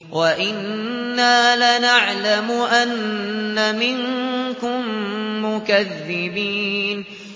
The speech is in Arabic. وَإِنَّا لَنَعْلَمُ أَنَّ مِنكُم مُّكَذِّبِينَ